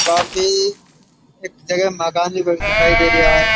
काफी एक जगह मकान दिखाई दे रहा है।